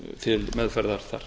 til meðferðar þar